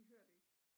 De hører det ikke